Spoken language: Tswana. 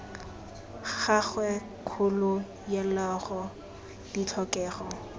gagwe kgolo yaloago ditlhokego tsa